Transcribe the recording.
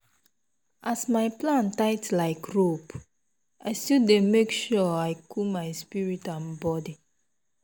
as my plan tight like rope i still dey make sure say i cool my spirit and and body.